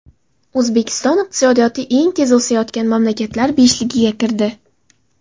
O‘zbekiston iqtisodiyoti eng tez o‘sayotgan mamlakatlar beshligiga kirdi.